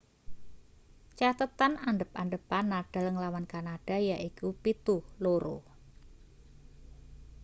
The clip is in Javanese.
cathethan adhep-adhepan nadal nglawan kanada yaiku 7-2